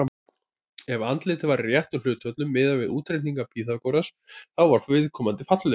Ef andlitið var í réttum hlutföllum, miðað við útreikninga Pýþagórasar, þá var viðkomandi fallegur.